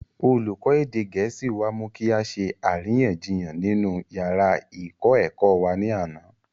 olùkọ́ èdè gẹ̀ẹ́sì wá mú kí á ṣe àríyànjiyàn nínú yàrá ìkọ́-ẹ̀kọ́ wa ní àná